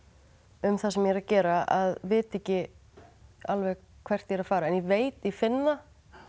um það sem ég er að gera að vita ekki alveg hvert ég er að fara en ég veit ég finn það